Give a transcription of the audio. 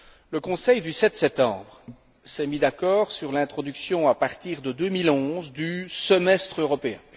Le Conseil du 7 septembre s'est mis d'accord sur l'introduction à partir de 2011 du semestre européen.